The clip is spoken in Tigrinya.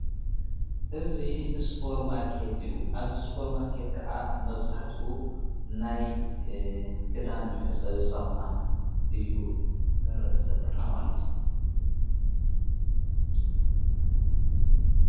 እዙ እስጶር ማርከት እዩ ኣብዚ እስጶር ማርከት ከዓ መብዛሕትኡ ናይ ክዳን ምሕጸብ ሳሙና እዩ ንርእ ዘለና ማለት እዩ።